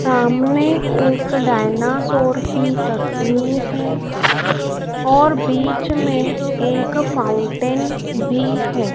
सामने एक डायनासोर की तस्वीर है और बीच में एक फाउंटेन भी है।